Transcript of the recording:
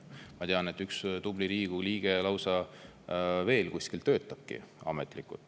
Ma tean, et üks tubli Riigikogu liige lausa töötab veel kuskil ametlikult.